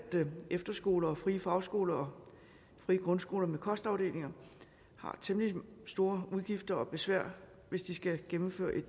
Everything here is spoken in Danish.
efterskoler og frie fagskoler og frie grundskoler med kostafdelinger har temmelig store udgifter og meget besvær hvis de skal gennemføre et